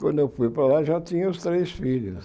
Quando eu fui para lá, já tinha os três filhos.